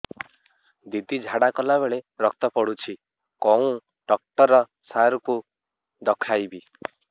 ଦିଦି ଝାଡ଼ା କଲା ବେଳେ ରକ୍ତ ପଡୁଛି କଉଁ ଡକ୍ଟର ସାର କୁ ଦଖାଇବି